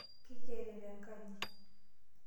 keikerere enkaji.